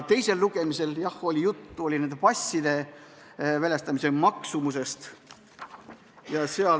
Teisel lugemisel oli jah juttu passide väljastamise maksumusest.